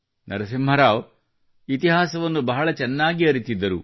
ನರಸಿಂಹ ರಾವ್ ಅವರು ಇತಿಹಾಸವನ್ನು ಸಹ ಬಹಳ ಚೆನ್ನಾಗಿ ಅರಿತಿದ್ದರು